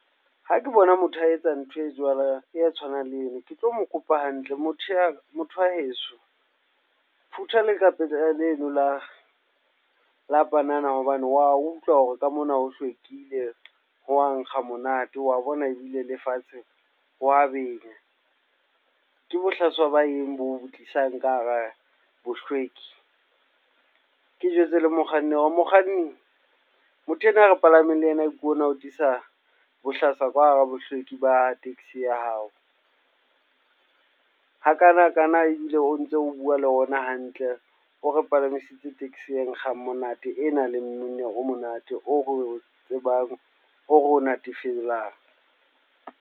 Ha ke bona motho a etsa ntho e tshwanang le eno, ke tlo mo kopa hantle. Motho wa heso, phutha lekgapetla leno la panana hobane wa utlwa hore ka mona ho hlwekile, ho wa nkga monate, wa bona ebile lefatshe ho wa benya. Ke bohlaswa ba eng boo tlisang ka hara bohlweki? Ke jwetse le mokganni hore, mokganni motho enwa e re palameng le ena ke ona o tlisa bohlaswa ka hara bohlweki ba taxi ya hao. Hakanakana ebile o ntso o bua le rona hantle, o re palamisitse taxi e nkgang monate e nang le mmino o monate, o re tsebang, o re natefelang.